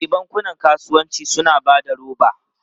E, bankunan kasuwanci suna ba da roba.